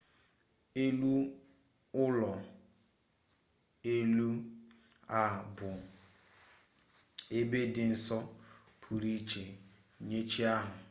elu ụlọ elu a bụ ebe dị nsọ pụrụ iche nye chi ahụ